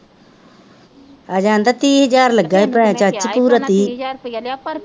ਅੱਜੇ ਕਹਿੰਦਾ ਤੀਹ ਹਜ਼ਾਰ ਚਾਚੀ ਪੂਰਾ ਤੀਹ ਓਹਨਾਂ ਤੀਹ ਹਜ਼ਾਰ ਰੁਪਿਆ ਲਿਆ ਪਰ,